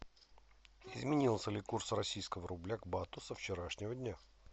изменился ли курс российского рубля к бату со вчерашнего дня